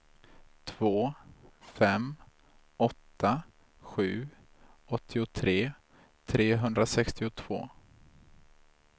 två fem åtta sju åttiotre trehundrasextiotvå